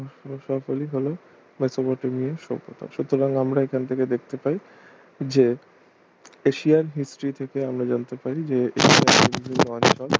সকলই হল মেসোপটেমিয়া সভ্যতা সুতরাং আমরা এখান থেকে দেখতে পাচ্ছি যে এশিয়ান history থেকে আমরা জানতে পারি যে